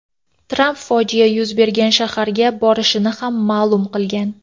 Tramp fojia yuz bergan shaharga borishini ham ma’lum qilgan.